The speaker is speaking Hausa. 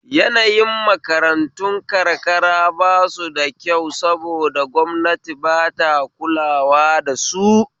Yanayin makarantun karkara bashi da kyau saboda gwamnati ba ta kulawa dasu